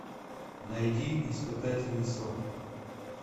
найди испытательный срок